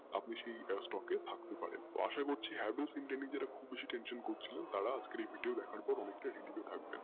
আপনি সেই stock এ থাকতে পারেন আশা করছি Havells india কে নিয়ে খুববেশি tension করছিলে তারা আজকের এই video দেখার পর relief হয়েথাকবেন